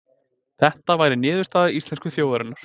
Þetta væri niðurstaða íslensku þjóðarinnar